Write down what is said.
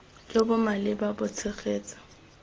jo bo maleba bo tshegetsa